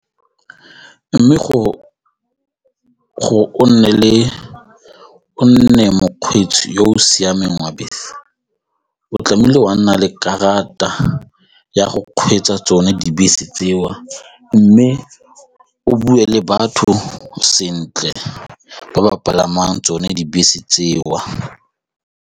Mme gore o nne mokgweetsi yo o siameng wa bese o tlamehile wa nna le karata ya go kgweetsa tsone dibese tseo mme o bue le batho sentle ba ba palamang tsone dibese tseo.